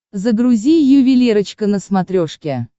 загрузи ювелирочка на смотрешке